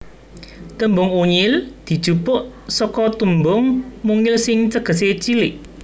Tembung Unyil dijupuk seka tembung mungil sing tegesé cilik